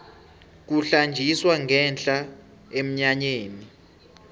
kuhlanjiswa ngenhla emnyanyeni